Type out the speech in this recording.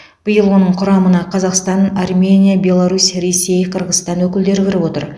биыл оның құрамына қазақстан армения беларусь ресей қырғызстан өкілдері кіріп отыр